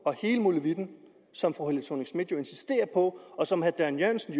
og hele molevitten som fru helle thorning schmidt jo insisterer på og som herre dan jørgensen